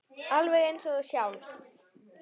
Alveg eins og þú sjálf.